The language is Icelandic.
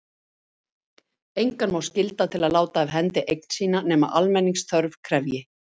engan má skylda til að láta af hendi eign sína nema almenningsþörf krefji